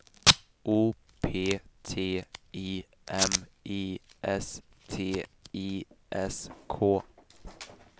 O P T I M I S T I S K